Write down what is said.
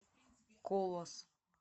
колос